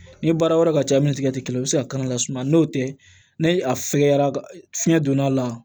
Ni baara wɛrɛ ka ca min ni tigɛti kelen o be se ka kan lasumaya n'o tɛ ne a fɛkɛyara fiɲɛ donna a la